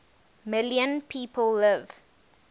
million people live